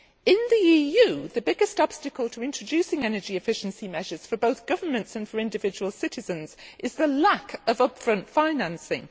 In the EU, the biggest obstacle to introducing energy efficiency measures for both governments and for individual citizens is the lack of upfront financing.